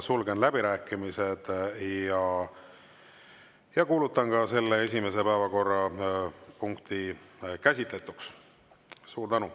Sulgen läbirääkimised ja kuulutan esimese päevakorrapunkti käsitletuks.